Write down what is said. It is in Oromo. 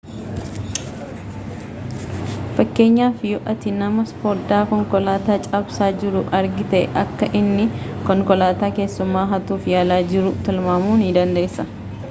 fakkeenyaaf yoo ati nama fodaa konkoataa cabsaa jiruu argiite akka inni konkolataa keessumaa hatuuf yaalaa jiruu tilmaamuu dandeessa